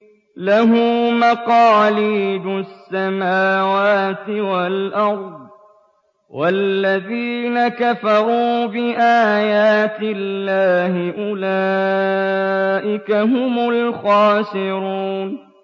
لَّهُ مَقَالِيدُ السَّمَاوَاتِ وَالْأَرْضِ ۗ وَالَّذِينَ كَفَرُوا بِآيَاتِ اللَّهِ أُولَٰئِكَ هُمُ الْخَاسِرُونَ